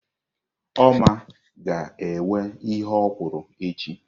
Oma ga-ewe ihe okwụrụ echi.